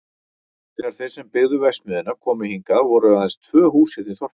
Þegar þeir sem byggðu verksmiðjuna komu hingað voru aðeins tvö hús hérna í þorpinu.